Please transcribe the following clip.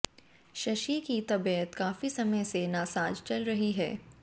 शशि की तबीयत काफी समय से नासाज चल रही है